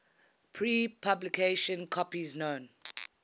pre publication copies known